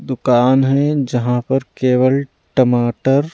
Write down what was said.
दुकान है जहाँ पर केवल टमाटर--